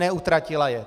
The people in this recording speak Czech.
Neutratila je.